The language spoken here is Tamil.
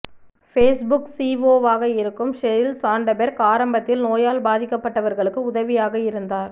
பேஸ்புக் சிஓஓ வாக இருக்கும் ஷெரில் சான்டபெர்க் ஆரம்பத்தில் நோயால் பாதிக்கப்பட்டவர்களுக்கு உதவியாக இருந்தார்